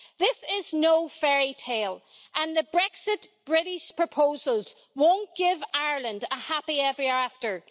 This is no fairytale, and the British Brexit proposals won't give Ireland a happily every after'.